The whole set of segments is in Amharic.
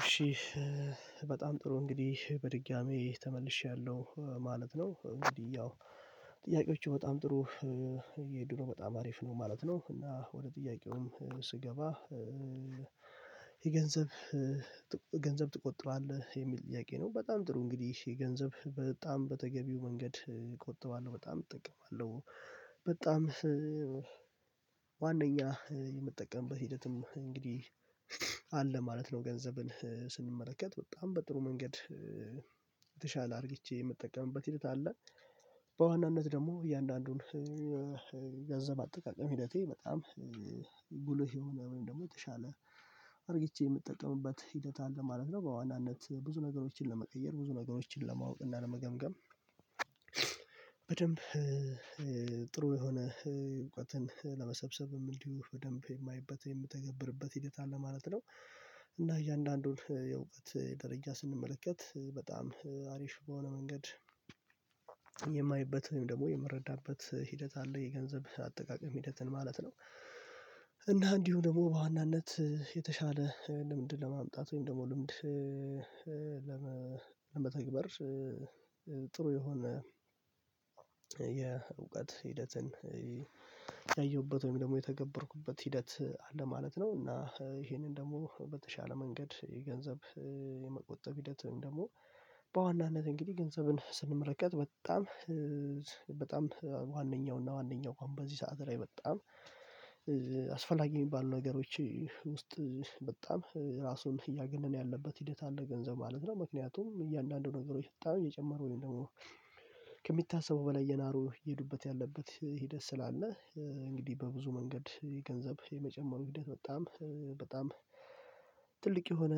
እሺ በጣም ጥሩ እንግዲህ በድጋሚ ተመልሼያለሁ ማለት ነው። እንግዲህ ያው ጥያቄዎቹ በጣም ጥሩ የድሮ በጣም አሪፍ ነው ማለት ነው። እና ወደ ጥያቄውም ስገባ የገንዘብ ገንዘብ ትቆጥባለህ የሚል ጥያቄ ነው? በጣም ጥሩ እንግዲህ የገንዘብ በጣም በተገቢው መንገድ እቆጥባለሁ በጣም እጠቀማለሁ። በጣም ዋናኛ የምጠቀምበት ሂደትም እንግዲህ አለ ማለት ነው። ገንዘብን ስንመለከት በጣም በጥሩ መንገድ የተሻለ አድርግቼ የምጠቀምበት ሂደት አለ። በዋናነት ደግሞ እያንዳንዱን ገንዘብ አጠቃቀም ሂደቴ በጣም ጉልህ የሆነ ወይም ደግሞ የተሻለ አርጊቼ የምጠቀምበት ሂደት አለ ማለት ነው። በዋናነት ብዙ ነገሮችን ለመቀየር ብዙ ነገሮችን ለማወቅ እና ለመገምገም በደንብ ጥሩ የሆነ ለመሰብሰብም እንዲሁ በደንብ የማየበት የምትገብርበት ሂደት አለ ማለት ነው። እና እያንዳንዱን የእዉቀት ደረጃ ስንመለከት በጣም አሪፍ በሆነ መንገድ የማየበት ወይም ደግሞ የምረዳበት ሂደት አለ የገንዘብ አጠቃቀም ሂደትን ማለት ነው። እና እንዲሁ ደግሞ በዋናነት የተሻለ ልምድ ለማምጣት ወይም ደግሞ ልምድ ለመተግበር ጥሩ የሆነ የእውቀት ሂደትን ያየሁበት ወይም ደግሞ የተገበርኩበት ሂደት አለ ማለት ነው። እና ይሄንን ደግሞ በተሻለ መንገድ የገንዘብ የመቆጠብ ሂደት ወይም ደግሞ በዋናነት እንግዲህ ገንዘብን ስንመለከትት በጣም በጣም ዋነኛውና ዋነኛው በዚህ ሰዓት ላይ በጣም አስፈላጊ የሚባሉ ነገሮች ውስጥ በጣም ራሱን እያገነን ያለበት ሂደት አለ ገንዘብ ማለት ነው። ምክንያቱም እያንዳንዱ ነገሮች ብታዩ እየጨመሩ ነው ደግሞ ከሚታሰበው በላይ የናሩ እየሄዱበት ያለበት ሂደት ስላለ እንግዲህ በብዙ መንገድ የገንዘብ የመጨመሩ ሂደት በጣም በጣም ትልቅ የሆነ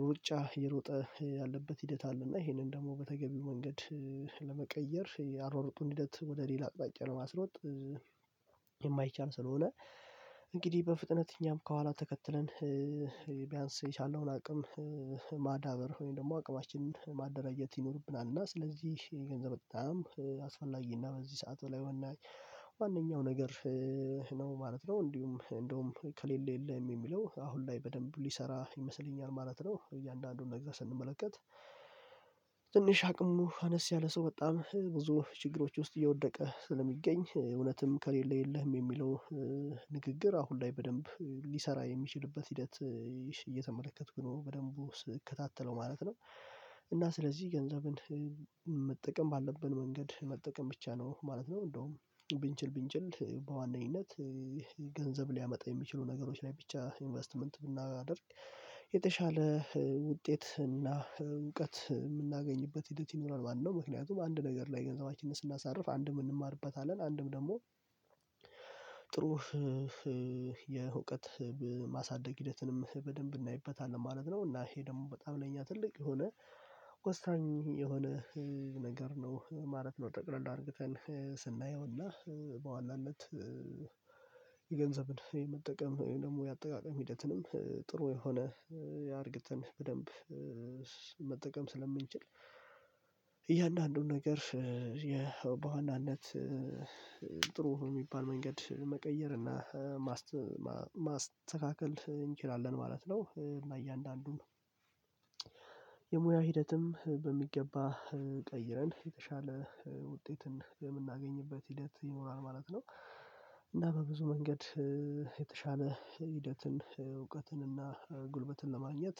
ሩጫ የሮጠ ያለበት ሂደት አለ። እና ይሄንን ደግሞ በተገቢው መንገድ ለመቀየር ያሯራጡን ሂደት ወደ ሌላ አቅጣጫ ለማስሮጥ የማይቻል ስለሆነ እንግዲህ በፍጥነት እኛም ከኋላ ተከትለን ቢያንስ የቻለውን አቅም ማዳበር ወይም ደግሞ አቅማችንን ማደራጀት ይኖርብናል። እና ስለዚህ የገንዘብ በጣም አስፈላጊ እና በዚህ ሰዓት በላይ ዋናዬ ዋነኛው ነገር ነው ማለት ነው እንዲሁ እንደውም ከሌለ የለም የሚለው አሁን ላይ በደንብ ሊሰራ ይመስለኛል ማለት ነው። እያንዳንዱን ነገር ስንመለከት ትንሽ አቅሙ አነስ ያለ ሰው በጣም ብዙ ችግሮች ውስጥ እየወደቀ ስለሚገኝ እውነትም ከሌለ የለህም የሚለው ንግግር አሁን ላይ በደንብ ሊሰራ የሚችልበት ሂደት እየተመለከትኩ ነው በደንቡ ስከታተለው ማለት ነው። እና ስለዚህ ገንዘብን መጠቀም ባለብን መንገድ መጠቀም ብቻ ነው ማለት ነው እንደውም ብንችል ብንችል በዋነኝነት ገንዘብ ሊያመጣ የሚችሉ ነገሮች ላይ ብቻ ኢንቨስትመንት ብናደርግ የተሻለ ውጤት እና እውቀት የምናገኝበት ሂደት ይኖራል ማለት ነው። ምክንያቱም አንድ ነገር ላይ ገንዘባችንን ስናሳርፍ አንድም እንማርበታለን አንድም ደግሞ ጥሩ የእውቀት ማሳደግ ሂደትንም በደንብ እናይበታለን ማለት ነው። እና ይሄ ደግሞ በጣም ለኛ ትልቅ የሆነ ወሳኝ የሆነ ነገር ነው ማለት ነው። ጠቅለል አርግተን ስናየውና በዋናነት የገንዘብን የመጠቀም ደግሞ የአጠቃቀም ሂደትንም ጥሩ የሆነ አርግተን በደንብ መጠቀም ስለምንችል እያንዳንዱን ነገር የበዋናነት ጥሩ የሚባል መንገድ መቀየር እና ማስተካከል እንችላለን ማለት ነው። እና እያንዳንዱን የሙያ ሂደትም በሚገባ ቀይረን የተሻለ ውጤትን የምናገኝበት ሂደት ይኖራል ማለት ነው። እና በብዙ መንገድ የተሻለ ሂደትን እውቀትን እና ጉልበትን ለማግኘት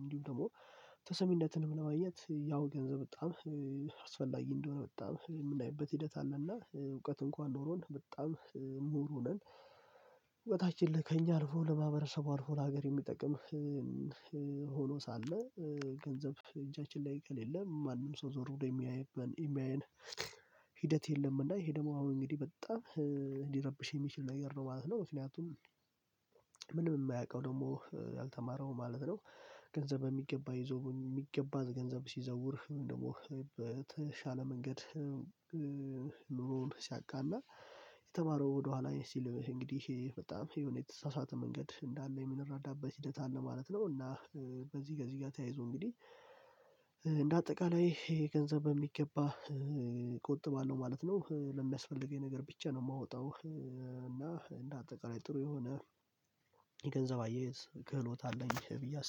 እንዲሁም ደግሞ ተሰሚነትን ለማየት ያው ገንዘብ በጣም አስፈላጊ እንደሆነ በጣም የምናይበት ሂደት አለና እውቀት እንኳን ኖሮን በጣም ምሁር ሆነን እውቀታችን ለከኛ አልፎ ለማህበረሰቡ አልፎ ለሀገር የሚጠቅም ሆኖ ሳለ ገንዘብ እጃችን ላይ ከሌለ ማንም ሰው ዞር ብሎ የሚያየን የሚያየን ሂደት የለም እና ይሄ ደግሞ አሁን እንግዲህ በጣም ሊረብሽ የሚችል ነገር ነው ማለት ነው። ምክንያቱም ምንም የማያውቀው ደግሞ ያልተማረው ማለት ነው ገንዘብ በሚገባ ይዞ በሚገባ ገንዘብ ሲዘውር ደግሞ በተሻለ መንገድ ኑሮዉን ሲያቃና የተማረው ወደኋላ ሲል እንግዲህ በጣም የሆነ የተሳሳተ መንገድ እንዳለ የምንረዳበት ሂደት አለ ማለት ነው። እና ከዚህ ከዚህ ጋር ተያይዞ እንግዲህ እንደ አጠቃላይ ይሄ ገንዘብ በሚገባ እቆጥባለው ማለት ነው። ለሚያስፈልገኝ ነገር ብቻ ነው የማወጣው እና እንደ አጠቃላይ ጥሩ የሆነ የገንዘብ አያያዝ ክህሎት አለኝ ብዬ አስባለሁ